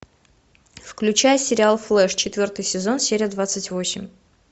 включай сериал флеш четвертый сезон серия двадцать восемь